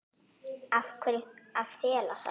Af hverju að fela það?